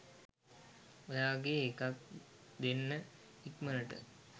ඔයාගේ එකක් දෙන්න ඉක්මණට.